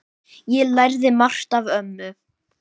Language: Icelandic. Ég lærði margt af ömmu.